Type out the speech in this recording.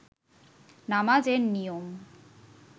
নামাজ এর নিয়ম